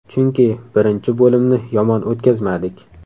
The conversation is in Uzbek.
Chunki birinchi bo‘limni yomon o‘tkazmadik.